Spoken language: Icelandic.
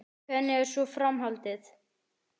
Hvernig er svo framhaldið?